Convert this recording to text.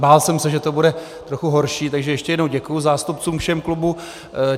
Bál jsem se, že to bude trochu horší, takže ještě jednou děkuji zástupcům všech klubů.